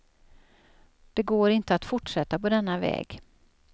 Det går inte att fortsätta på denna väg.